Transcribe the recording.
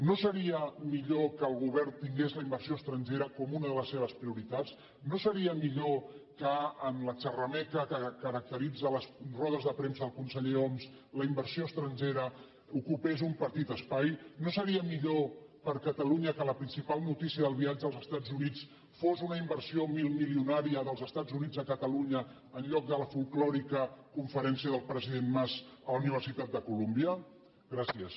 no seria millor que el govern tingués la inversió estrangera com una de les seves prioritats no seria millor que en la xerrameca que caracteritza les rodes de premsa el conseller homs la inversió estrangera ocupés un petit espai no seria millor per a catalunya que la principal notícia del viatge als estats units fos una inversió milmilionària dels estats units a catalunya en lloc de la folklòrica conferència del president mas a la universitat de columbia gràcies